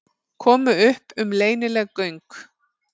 Komu upp um leynileg göng